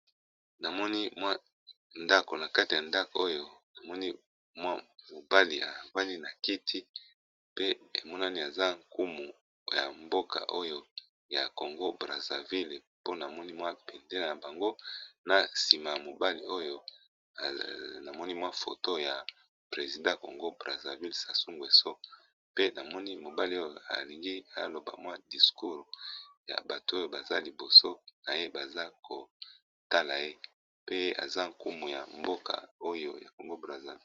Namoni ndako nakati nango de mobali abandi nakati ya kiti pe emonani eza nkumu yamboka oyo ya Congo Brazzaville ponamoni bendela yamboka oyo na sima ya mobali oyo photo ya mokolo ya mboka Congo Brazzaville.